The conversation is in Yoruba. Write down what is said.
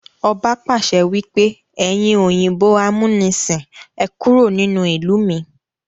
Ọba pàṣẹ wípé "ẹyin òyìnbó amunisin, Ẹ kúrò nínú ìlú mi!